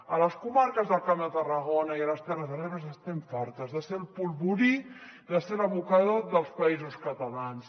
a les comarques del camp de tarragona i a les terres de l’ebre n’estem fartes de ser el polvorí de ser l’abocador dels països catalans